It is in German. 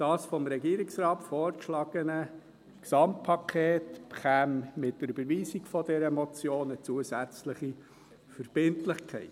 Das vom Regierungsrat vorgeschlagene Gesamtpaket bekäme mit der Überweisung dieser Motion eine zusätzliche Verbindlichkeit.